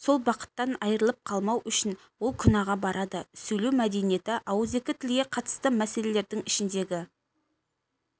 сол бақыттан айырылып қалмау үшін ол күнәға барады сөйлеу мәдениеті ауыз екі тілге қатысты мәселелердің ішіндегі